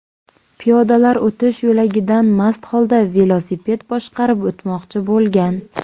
piyodalar o‘tish yo‘lagidan mast holda velosiped boshqarib o‘tmoqchi bo‘lgan.